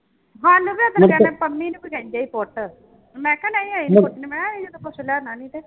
ਸਾਨੂੰ ਵੀ ਇੱਕ ਦਿਨ ਕਹਿੰਦੇ ਪੰਮੀ ਨੂੰ ਵੀ ਕਹਿੰਦੇ ਸੀ ਪੁੱਟ ਮੈਂ ਕਿਹਾ ਨਹੀਂ ਅਸੀਂ ਨੀ ਪੁੱਟਣੀ ਮੈਂ ਕਿਹਾ ਅਸੀਂ ਤਾਂ ਕੁਛ ਲੈਣਾ ਨੀ ਤੇ